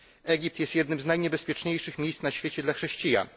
Egipt jest jednym z najniebezpieczniejszych miejsc na świecie dla chrześcijan.